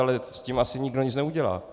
Ale s tím asi nikdo nic nenadělá.